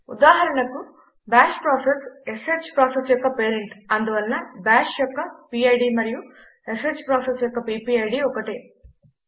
ఉదాహరణకు bash process sh process యొక్క parent అందువలన బాష్ యొక్క పిడ్ మరియు ష్ ప్రాసెస్ యొక్క పీపీఐడీ ఒకటే